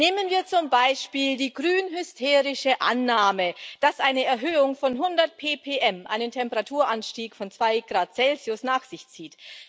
Nehmen wir zum Beispiel die grün hysterische Annahme, dass eine Erhöhung von 100 ppm einen Temperaturanstieg von 2 oC nach sich zieht.